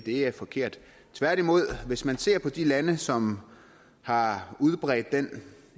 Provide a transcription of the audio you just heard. er forkert tværtimod er at hvis man ser på de lande som har udbredt den